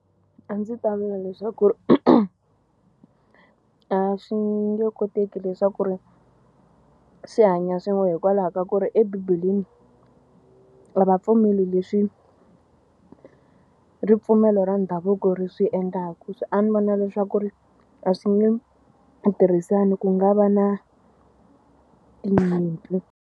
A ndzi ta vula leswaku a swi nge koteki leswaku ri swi hanya swin'we hikwalaho ka ku ri ebibeleni a va pfumeli leswi ripfumelo ra ndhavuko ri swi endlaka. A ni vona leswaku ri a swi nge tirhisani ku nga va na tinyimpi.